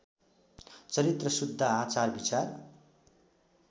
चरित्र शुद्ध आचारविचार